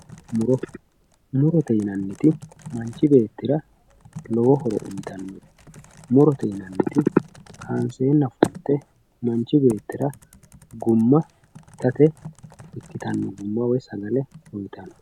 muro murote yinanniti manchi beettira lowo horo uyiitannote murote yinanniti kaanseenna funte manchi beetira gumma itate ikkitanno gumma woyi sagale uyiitanno.